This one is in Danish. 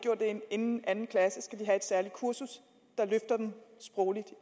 inden anden klasse skal de have et særligt kursus der løfter dem sprogligt